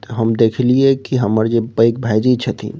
हम देखलिए की हमर जे पेघ भाएजी छथीन --